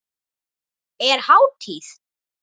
Er hátíð?